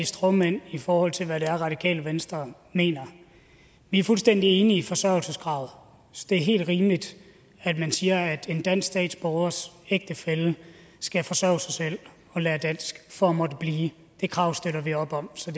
stråmænd i forhold til hvad det er radikale venstre mener vi er fuldstændig enige i forsørgelseskravet det er helt rimeligt at man siger at en dansk statsborgers ægtefælle skal forsørge sig selv og lære dansk for at måtte blive det krav støtter vi op om så